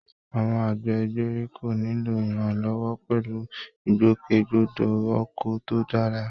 Àwọn àgbẹ̀ ìgbèríko nílò ìrànlọ́wọ́ pẹ̀lú ìgbòkègbodò ọkọ̀ tó dára